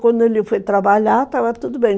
Quando ele foi trabalhar, estava tudo bem.